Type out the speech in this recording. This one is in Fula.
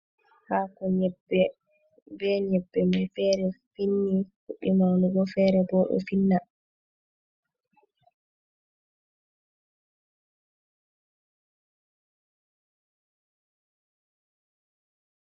Hako nyebbe, be nyebbe mai fere fu finni, fuddi maunugo. Fere bo do finna.